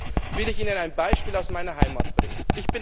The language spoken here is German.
Deswegen will ich Ihnen ein Beispiel aus meiner Heimat nennen.